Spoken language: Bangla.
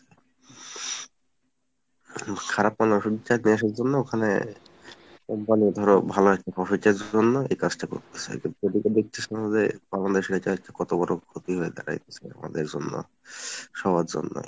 হম খারাপমানের ওষুধটা নিয়ে আসার জন্যে ওখানে একবারে ধরো ভালো একটা profit এর জন্য এই কাজটা করতেছে কিন্তু ঐদিকে দেখতেছেন যে আমাদের শরীরটায় কতবড় ক্ষতি হয়ে দাঁড়াইতেছে আমাদের জন্য সবার জন্যই।